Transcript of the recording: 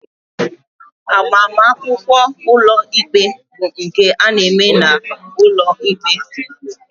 Agbamakwụkwọ ụlọikpe bụ nke a na-eme n'ụlọikpe